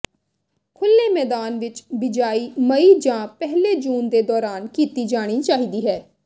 ਖੁੱਲ੍ਹੇ ਮੈਦਾਨ ਵਿਚ ਬਿਜਾਈ ਮਈ ਜਾਂ ਪਹਿਲੇ ਜੂਨ ਦੇ ਦੌਰਾਨ ਕੀਤੀ ਜਾਣੀ ਚਾਹੀਦੀ ਹੈ